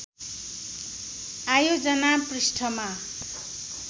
आयोजना पृष्ठमा